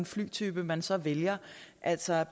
flytype man så vælger altså